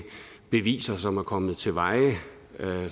beviser som er kommet til veje